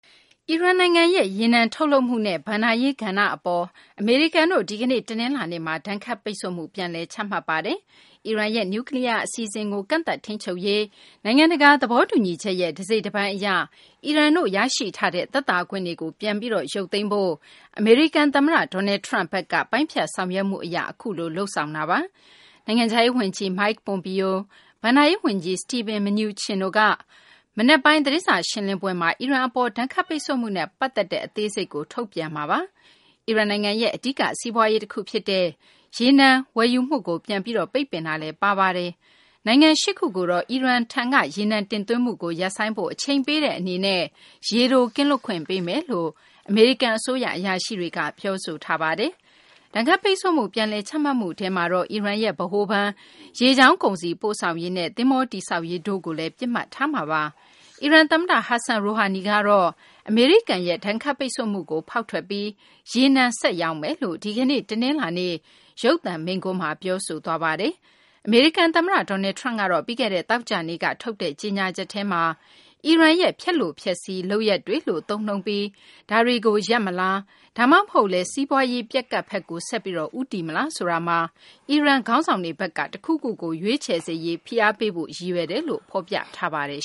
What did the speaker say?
အီရန်နိုင်ငံရဲ့ ရေနံထုတ်လုပ်မှုနဲ့ ဘဏ္ဍာရေး ကဏ္ဍအပေါ် အမေရိကန်တို့ ဒီကနေ့ တနလာၤနေ့မှာ ဒဏ်ခတ်ပိတ်ဆို့မှု ပြန်လည် ချမှတ်ပါတယ်။ အီရန်ရဲ့ နျူးကလီးယား အစီအစဉ်ကို ကန့်သတ်ထိန်းချုပ်ရေး နိုင်ငံတကာ သဘောတူညီချက်ရဲ့ တစိတ်တပိုင်း အရ အီရန်ရရှိထားတဲ့ သက်သာခွင့်တွေကို ပြန်လည်ရုပ်သိမ်းဖို့ အမေရိကန် သမ္မတ Donald Trump ဘက်က ပိုင်းဖြတ်ဆောင်ရွက်မှု အရ အခုလို လုပ်ဆောင်ခဲ့တာပါ။ နိုင်ငံခြားရေး ဝန်ကြီး Mike Pompeo နဲ့ ဘဏ္ဍာရေး ဝန်ကြီး Steven Mnuchin တို့က မနက်ပိုင်း သတင်းစာ ရှင်းလင်းပွဲမှာ အီရန် အပေါ် ဒဏ်ခတ်ပိတ်ဆို့မှုနဲ့ ပတ်သက်တဲ့ အသေးစိတ် ထုတ်ပြန်မှာပါ။ အီရန်နိုင်ငံရဲ့ အဓိက စီးပွားရေး တခု ဖြစ်တဲ့ ရေနံ ဝယ်ယူမှုကို ပြန်ပြီး ပိတ်ပင်မှုလည်း ပါဝင်ပါတယ်။ နိုင်ငံ ၈ ခုကိုတော့ အီရန်ရဲ့ ရေနံ တင်သွင်းမှုကို ရပ်ဆိုင်းဖို့ အချိန်ပေးတဲ့ အနေနဲ့ ရေတို ကင်းလွတ်ခွင့် ပေးမယ်လို့လည်း အမေရိကန် အစိုးရ အရာရှိတွေက ပြောဆိုထားပါတယ်။ ဒဏ်ခတ်ပိတ်ဆို့မှု ပြန်လည် ချမှတ်မှု ထဲမှာတော့ အီရန်ရဲ့ ဗဟိုဘဏ်၊ ရေကြောင်း ကုန်စည်ပို့ဆောင်ရေးနဲ့ သဘောၤတည်ဆောက်ရေး တို့ကိုလည်း ပစ်မှတ်ထားမှာပါ။ အီရန် သမ္မတ Hassan Rohani ကတော့ အမေရိကန်ရဲ့ ဒဏ်ခတ်ပိတ်ဆို့မှုကို ဖောက်ထွက်ပြီး ရေနံ ဆက်ပြီး ရောင်းမယ်လို့ ဒီကနေ့ တနလာၤနေ့ ရုပ်သံမိန့်ခွန်းမှာ ပြောဆိုသွားပါတယ်။ အမေရိကန် သမ္မတ Donald Trump ကတော့ ပြီးခဲ့တဲ့ သောကြာနေ့က ထုတ်တဲ့ ကြေညာချက်ထဲမှာတော့ အီရန်ရဲ့ ဖျက်လိုဖျက်စီး လုပ်ရပ်တွေလို့ သုံးနှုန်းပြီး ဒါတွေကို ရပ်မလား ဒါမှမဟုတ်လည်း စီးပွားရေး ပျက်ကပ်ဘက်ကို ဆက်ပြီး ဦးတည်သွားမလား ဆိုတာမှာ အီရန် ခေါင်းဆောင်တွေဘက်က တခုခုကို ရွေးချယ်စေရေး ဖိအားပေးဖို့ ရည်ရွယ်တယ်လို့ ဖော်ပြထားပါတယ်